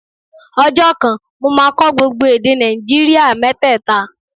Ọjọ́ kan, mo máa kọ́ gbogbo èdè Nàìjíríà mẹ́tẹ̀ta